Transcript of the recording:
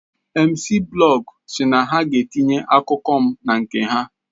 Mciiblog SI na ha ga etinye akụkọ m na nke ha